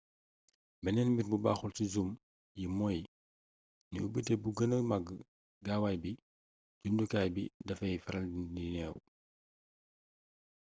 beneen mbir bu baxul ci zoom yi mooy ni ubité bu gëna mag gaawaay bi jumtukaay bi dafay faral di neew